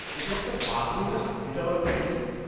ওটা একটা পাগড়ি না, যেটা ওঁরা পরেছেন?